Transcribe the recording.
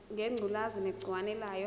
ngengculazi negciwane layo